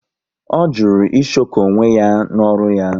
Ọ jụrụ ịshoko onwe ya n'ọrụ ya